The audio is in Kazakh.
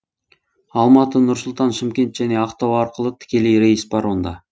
алматы нұр сұлтан шымкент және ақтау арқылы тікелей рейс бар онда